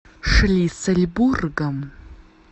шлиссельбургом